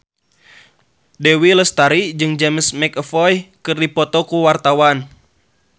Dewi Lestari jeung James McAvoy keur dipoto ku wartawan